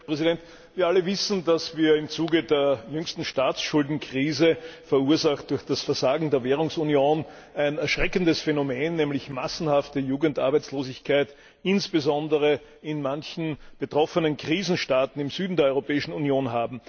Herr Präsident! Wir alle wissen, dass wir im Zuge der jüngsten Staatsschuldenkrise, verursacht durch das Versagen der Währungsunion, ein erschreckendes Phänomen haben, nämlich massenhafte Jugendarbeitslosigkeit insbesondere in einigen der betroffenen Krisenstaaten im Süden der Europäischen Union.